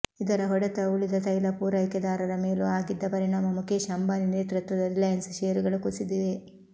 ಇದರ ಹೊಡೆತವು ಉಳಿದ ತೈಲ ಪೂರೈಕೆದಾರರ ಮೇಲೂ ಆಗಿದ್ದ ಪರಿಣಾಮ ಮುಖೇಶ್ ಅಂಬಾನಿ ನೇತೃತ್ವದ ರಿಲಯನ್ಸ್ ಷೇರುಗಳು ಕುಸಿದಿವೆ